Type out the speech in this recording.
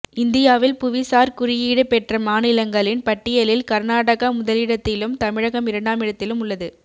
இந்தியாவில் புவிசார் குறியீடு பெற்ற மாநிலங்களின் பட்டியலில் கர்நாடகா முதலிடத்திலும் தமிழகம் இரண்டாம் இடத்திலும் உள்ளது